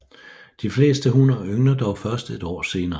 De fleste hunner yngler dog først et år senere